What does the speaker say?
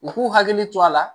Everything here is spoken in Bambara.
U k'u hakili to a la